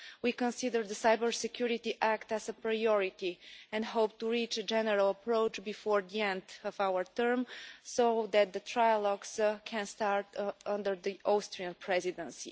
We consider the Cyber Security Act as a priority and hope to reach a general approach before the end of our term so that the trilogues can start under the Austrian Presidency.